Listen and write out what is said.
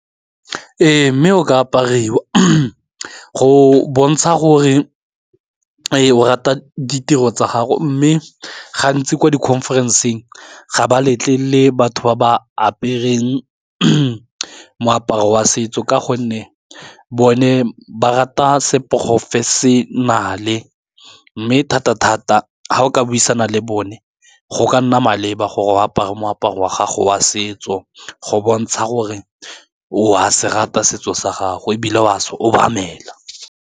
Ee mme o ka apariwa go bontsha gore e o rata di tiro tsa gago mme gantsi ko di-conference-eng ga ba letlelele batho ba ba apereng moaparo wa setso ka gonne bone ba rata seporofe senale mme thata-thata ga o ka buisana le bone go ka nna maleba gore o apara moaparo wa gago wa setso go bontsha gore o a se rata setso sa gago e bile o a se obamela.